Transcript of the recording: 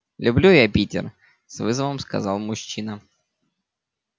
люблю я питер с вызовом сказал мужчина